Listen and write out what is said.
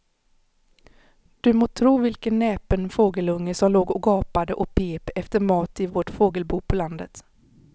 Du må tro vilken näpen fågelunge som låg och gapade och pep efter mat i vårt fågelbo på landet.